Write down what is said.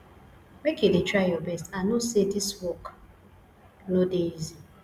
make you dey try your best i know sey dis work no dey easy